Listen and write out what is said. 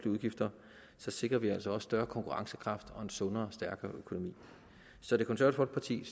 udgifter sikrer vi altså også større konkurrencekraft og en sundere stærkere økonomi så det konservative